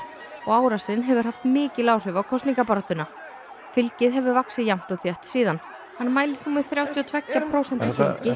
og árásin hefur haft mikil áhrif á kosningabaráttuna fylgið hefur vaxið jafnt og þétt síðan hann mælist nú með þrjátíu og tveggja prósenta